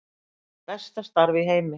Besta starf í heimi